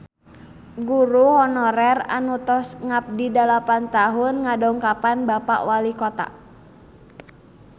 Guru honorer anu tos ngabdi dalapan tahun ngadongkapan Bapak Walikota